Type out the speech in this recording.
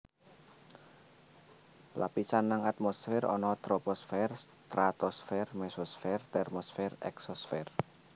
Lapisan nang atmosfer ana Troposfer Stratosfer Mesosfer Termosfer Eksosfer